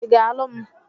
Ị ga-alụ m?